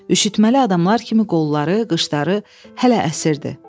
Üşütməli adamlar kimi qolları, qışları hələ əsirdi.